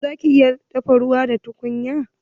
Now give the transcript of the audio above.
Eh zaki iya dafa ruwa da tukunya.